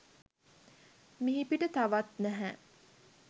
මිහිපිට තවත් නැහැ.